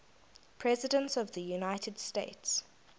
presidents of the united states